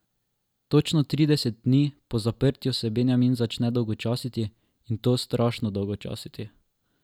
Točno trideset dni po zaprtju se Benjamin začne dolgočasiti, in to strašno dolgočasiti.